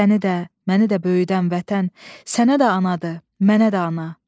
Səni də, məni də böyüdən vətən, sənə də anadır, mənə də ana.